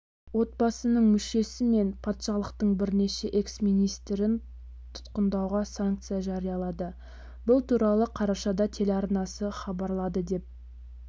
отбасының мүшесі мен патшалықтың бірнеше экс-министрін тұтқындауға санкция жариялады бұл туралы қарашада телеарнасы хабарлады деп